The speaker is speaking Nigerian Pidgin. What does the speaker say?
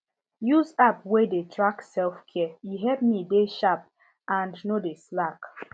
use app wey dey track selfcare e help me dey sharp and no dey slack